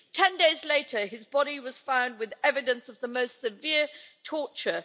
Ten days later, his body was found with evidence of the most severe torture.